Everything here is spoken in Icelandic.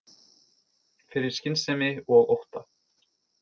Fyrir skynsemi og ótta